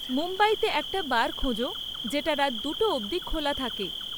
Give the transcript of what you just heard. মুম্বইতে একটা বার খোঁজো যেটা রাত দুটো অব্দি খোলা থাকে